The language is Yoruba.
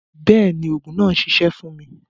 Bẹẹni, oogun naa n ṣiṣẹ fun mi.